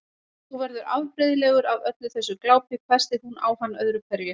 Þú verður afbrigðilegur af öllu þessu glápi hvæsti hún á hann öðru hverju.